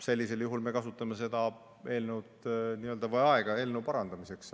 Sellisel juhul me kasutame seda aega eelnõu parandamiseks.